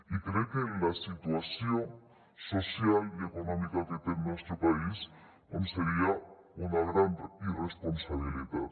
i crec que en la situació social i econòmica que té el nostre país seria una gran irresponsabilitat